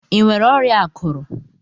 Ịnwere ọrịa akụrụ?